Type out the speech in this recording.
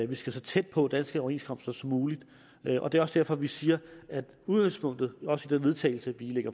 vi skal så tæt på danske overenskomster som muligt og det er også derfor vi siger at udgangspunktet også til vedtagelse vi